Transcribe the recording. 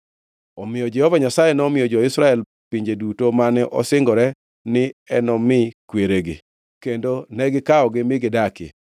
Omiyo Jehova Nyasaye nomiyo jo-Israel pinje duto mane osingore ni enomi kweregi, kendo ne gikawogi mi gidakie.